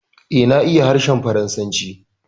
Eh, na iya harshen Faransanci